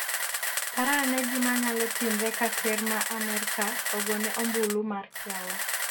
parane gimanyalo timre ka ker ma Amerka ogone ombulu mar kiawa